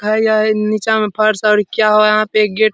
है या नीचा मा फर्स और किया हुआ है यहाँ पे एक गेट --